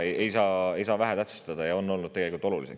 Neid ei saa tähtsustada, need on olnud tegelikult olulised.